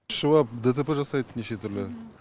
ішіп ап дтп жасайды неше түрлі